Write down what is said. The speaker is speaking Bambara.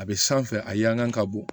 A bɛ sanfɛ a kan ka bɔ